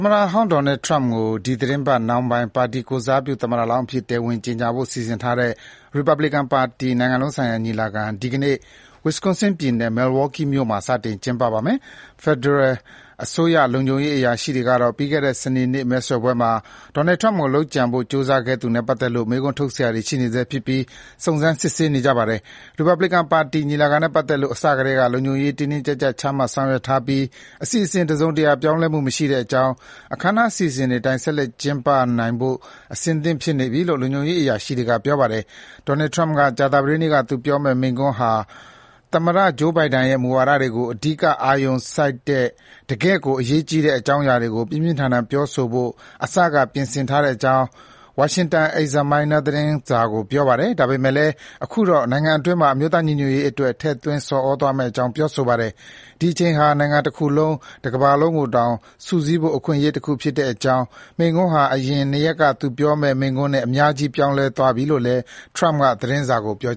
မတဟောင်းဒေါ်နယ်ထရမ့်ကို ဒီသီတင်းပတ် နှောင်းပိုင်း ပါတီကိုယ်စားပြု သမ္မတလောင်းအဖြစ် တရားဝင် ကြေညာဖို့ စီစဉ်ထားတဲ့ ရီပတ်ဘစ်ကန်ပါတီ နိုင်ငံလုံးဆိုင်ရာ ညီလာခံ ဒီနေ့ Wisconsin ပြည်နယ် Milwaukee မြို့မှာ စတင် ကျင်းပပါမယ်။ ဖက်ဒရယ်အစိုးရ လုံခြုံရေး အရာရှိတွေကတော့ ပြီးခဲ့တဲ့ စနေနေ့ မဲဆွယ်ပွဲမှာ ဒေါ်နယ်ထရမ့်ကို လုပ်ကြံဖို့ ကြိုးစားခဲ့သူနဲ့ ပတ်သက်လို့ မေးခွန်းထုတ်စရာတွေ ရှိနေဆဲဖြစ်ပြီး စုံစမ်း စစ်ဆေးနေပါတယ်။ ရီပတ်ဘလစ်ကန်ပါတီ ညီလာခံနဲ့ ပတ်သက်လို့ အစကတည်းက လုံခြုံရေး တင်းတင်းကြပ်ကြပ် ချမှတ်ဆောင်ရွက်ထားပြီး အစီအစဉ် တစုံတရာ ပြောင်းလဲမှု မရှိတဲ့အကြောင်း အခမ်းအနား အစီအစဉ်တွေအတိုင်း ဆက်လက် ကျင်းပနိုင်ဖို့ အဆင့်သင့်ဖြစ်နေပြီလို့ လုံခြုံရေးအရာရှိတွေက ပြောပါတယ်။ ဒေါ်နယ်ထရမ့်က ကြာသပတေးနေ့ သူပြောကြားမယ့် မိန့်ခွန်းဟာ သမ္မတဂျိုးဘိုင်ဒန်ရဲ့ မူဝါဒတွေကို အဓိက အာရုံစိုက်တဲ့ တကယ့်ကို အရေးကြီးတဲ့ အကြောင်းအရာတွေကို ပြင်းပြင်းထန်ထန် ပြောဆိုဖို့ အစက ပြင်ဆင်ထားတဲ့အကြောင်း Washington Examiner သတင်းစာကို ပြောပါတယ်။ ဒါပေမဲ့လည်း အခုတော့ နိုင်ငံအတွင်းမှာ အမျိုးသားညီညွတ်ရေးအတွက် ထည့်သွင်း ဆော်ဩသွားမယ့်အကြောင်း ပြောဆိုပါတယ်။ ဒီအချိန်ဟာ နိုင်ငံတခုလုံး၊ ကမ္ဘာတခုလုံးကိုတောင် စုစည်းဖို့ အခွင့်အရေးတခု ဖြစ်တဲ့အကြောင်း၊ မိန့်ခွန်းဟာ အရင် နှစ်ရက်က သူပြောမယ့် မိန့်ခွန်းနဲ့ အများကြီး ပြောင်းလဲသွားပြီလို့လည်း ထရမ့်က သတင်းစာကို ပြော